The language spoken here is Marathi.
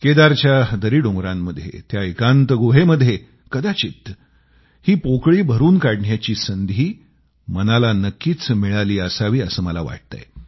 केदारच्या दरीडोंगरांमध्ये त्या एकांत गुहेमध्ये कदाचित ही पोकळी भरून काढण्याची संधी मनाला नक्कीच मिळाली असावी असं मला वाटतंय